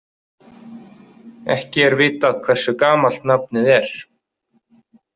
Ekki er vitað hversu gamalt nafnið er.